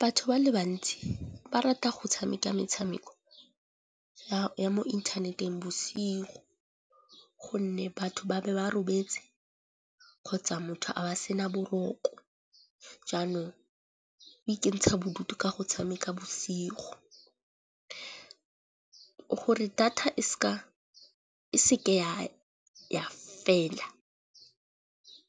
Batho ba le bantsi ba rata go tshameka metshameko ya mo inthaneteng bosigo gonne batho ba be ba robetse kgotsa motho a ba sena boroko. Jaanong go ikentsha bodutu ka go tshameka bosigo gore data e seke ya fela.